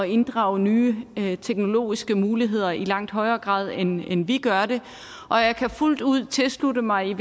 inddrage nye nye teknologiske muligheder i langt højere grad end end vi gør det og jeg kan fuldt ud tilslutte mig